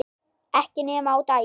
Ekki nema á daginn